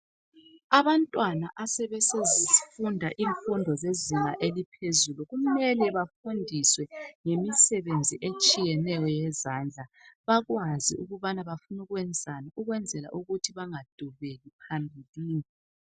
Abantwana asebefunda imfundo zezinga eliphezulu kumele bafundiswe ngemisebenzi etshiyeneyo yezandla bakwazi ukubana bafuna ukwenzani ukuze bangadubeki phambilini.